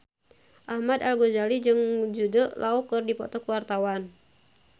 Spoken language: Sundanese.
Ahmad Al-Ghazali jeung Jude Law keur dipoto ku wartawan